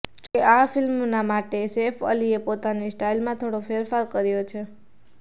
જો કે આ ફિલ્મના માટે સેફ અલીએ પોતાની સ્ટાઈલમાં થોડો ફેરફાર કર્યો છે